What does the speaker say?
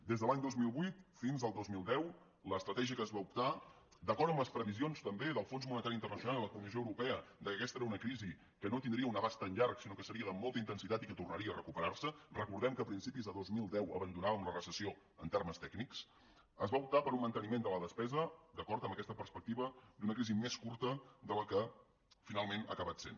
des de l’any dos mil vuit fins al dos mil deu l’estratègia que es va optar d’acord amb les previsions també del fons monetari internacional i de la comissió europea que aquesta era una crisi que no tindria un abast tan llarg sinó que seria de molta intensitat i que tornaria a recuperar se recordem que a principis de dos mil deu abandonàvem la recessió en termes tècnics es va optar per un manteniment de la despesa d’acord amb aquesta perspectiva d’una crisi més curta de la que finalment ha acabat sent